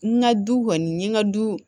N ka du kɔni n ye n ka du